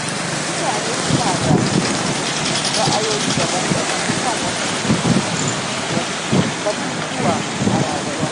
Mutane suna da ra’ayoyi daban-daban kan wasu batutuwa a rayuwa.